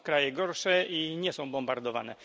Są kraje gorsze i nie są bombardowane.